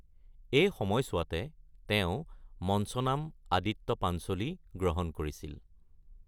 এই সময়ছোৱাতে, তেওঁ মঞ্চ নাম আদিত্য পাঞ্চোলী গ্ৰহণ কৰিছিল।